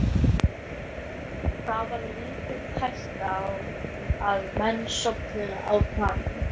Það var lítil hætta á að menn sofnuðu á planinu.